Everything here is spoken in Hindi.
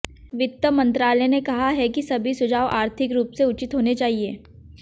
वित्त मंत्रालय ने कहा है कि सभी सुझाव आर्थिक रूप से उचित होने चाहिए